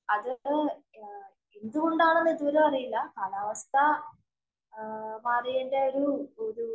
അത് എന്തുകൊണ്ടാണെന്ന് ഇതുവരെ അറിയില്ല. കാലാവസ്ഥ മാറിയേന്‍റെ ഒരു ഒരു